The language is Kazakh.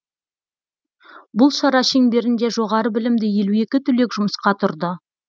бұл шара шеңберінде жоғары білімді елу екі түлек жұмысқа тұрды